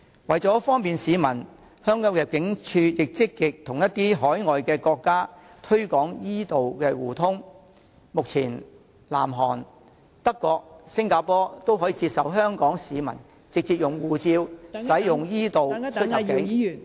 此外，為方便市民，香港入境事務處亦積極與一些海外國家推廣 e- 道互通，目前南韓、德國及新加坡均接受香港市民直接以護照使用 e- 道出入境......